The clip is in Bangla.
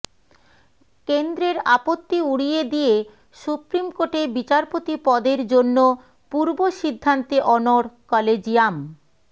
কেন্দ্রের আপত্তি উড়িয়ে দিয়ে সুপ্রিম কোর্টে বিচারপতি পদের জন্য পূর্বসিদ্ধান্তে অনড় কলেজিয়াম